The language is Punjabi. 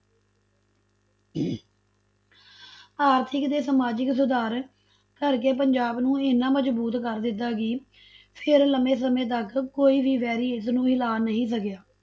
ਆਰਥਿਕ ਤੇ ਸਮਾਜਿਕ ਸੁਧਾਰ ਕਰਕੇ ਪੰਜਾਬ ਨੂੰ ਇੰਨਾ ਮਜ਼ਬੂਤ ਕਰ ਦਿੱਤਾ ਕਿ ਫਿਰ ਲੰਮੇ ਸਮੇਂ ਤੱਕ ਕੋਈ ਵੀ ਵੈਰੀ ਇਸਨੂੰ ਹਿਲਾ ਨਹੀਂ ਸਕਿਆ।